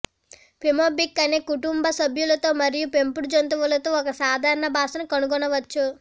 Pembroke అన్ని కుటుంబ సభ్యులతో మరియు పెంపుడు జంతువులతో ఒక సాధారణ భాషను కనుగొనవచ్చు